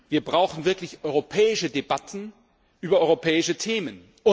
Wir brauchen wirklich europäische Debatten über europäische Themen.